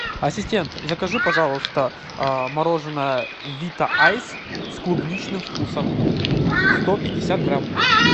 ассистент закажи пожалуйста мороженое вита айс с клубничным вкусом сто пятьдесят грамм